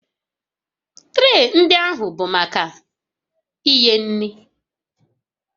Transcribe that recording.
Tree ndị ahụ bụ maka inye nri